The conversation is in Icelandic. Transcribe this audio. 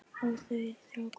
Og þau þrá hvort annað.